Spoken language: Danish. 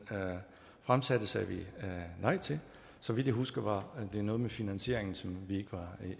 fremsatte sagde vi nej til så vidt jeg husker var det noget med finansieringen som vi ikke var